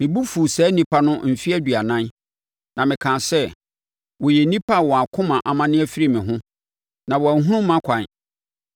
Me bo fuu saa nnipa no mfeɛ aduanan na mekaa sɛ, “Wɔyɛ nnipa a wɔn akoma amane afiri me ho, na wɔanhunu mʼakwan.”